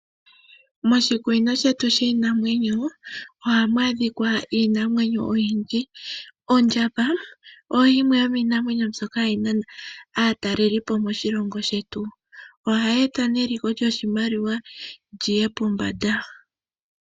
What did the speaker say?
Moshikunino shetu shiinamwenyo, ohamu adhika iinamwenyo oyindji. Ondjamba oyo yimwe yomiinamwenyo mboyoka hayi nana aatalelipo moshilongo shetu. Ohayi eta neliko lyoshimaliwa lyiye pombanda.